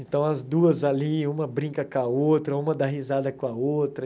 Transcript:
Então, as duas ali, uma brinca com a outra, uma dá risada com a outra.